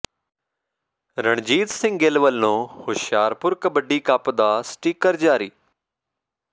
ਰਣਜੀਤ ਸਿੰਘ ਗਿੱਲ ਵਲੋਂ ਹੁਸ਼ਿਆਰਪੁਰ ਕਬੱਡੀ ਕੱਪ ਦਾ ਸਟਿੱਕਰ ਜਾਰੀ